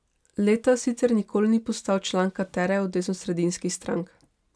Letta sicer nikoli ni postal član katere od desnosredinskih strank.